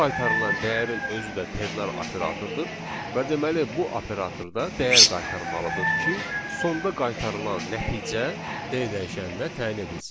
Bu qaytarılan dəyərin özü də ternar operatordur və deməli bu operatorda dəyər qaytarmalıdır ki, sonda qaytarılan nəticə D dəyişəninə təyin edilsin.